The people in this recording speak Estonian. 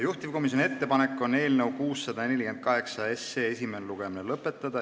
Juhtivkomisjoni ettepanek on eelnõu 648 esimene lugemine lõpetada.